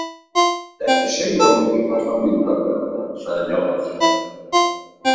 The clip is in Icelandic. Ekki segja að þú myndir kalla hann myndarlegan, sagði Njáll.